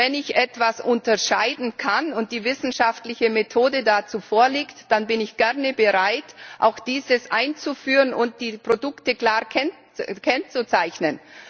Wenn ich etwas unterscheiden kann und die wissenschaftliche Methode dazu vorliegt, dann bin ich gerne bereit, auch dieses einzuführen und die Produkte klar zu kennzeichnen.